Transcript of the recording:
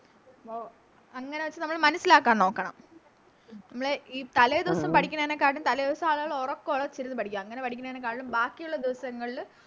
ഓ അങ്ങനെ വെച്ച് നമ്മള് മനസ്സിലാക്കാൻ നോക്കണം നമ്മള് ഈ തലേദിവസം പടിക്കണേനെ കാട്ടിലും തലേദിവസം ആളുകള് ഒറക്കവോളച്ചിരുന്ന് പഠിക്കും അങ്ങനെ പഠിക്കണേനെ കാളും ബാക്കിയുള്ള ദിവസങ്ങളില്